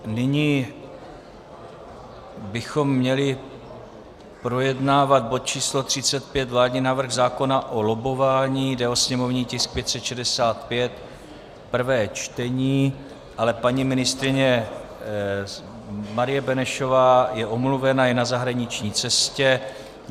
Nyní bychom měli projednávat bod číslo 35, vládní návrh zákona o lobbování, jde o sněmovní tisk 565, prvé čtení, ale paní ministryně Marie Benešová je omluvena, je na zahraniční cestě.